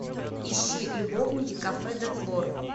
ищи любовники кафе де флор